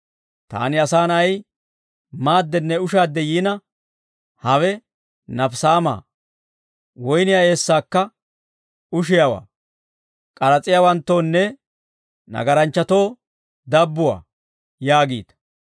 Taani Asaa Na'ay maaddenne ushaadde yiina, ‹Hawe nafisaamaa; woyniyaa eessaakka ushiyaawaa; k'aras'iyaawanttoonne nagaranchchatoo dabbuwaa› yaagiita.